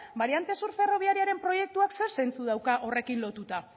bariante sur ferrobiariaren proiektuak zer zentsu dauka horrekin lotuta